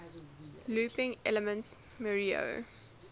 looping elements mario